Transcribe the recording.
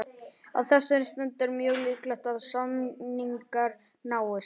Á þessari stundu er mjög líklegt að samningar náist.